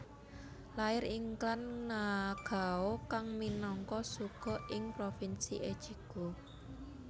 Lair ing klan Nagao kang minangka shugo ing provinsi Echigo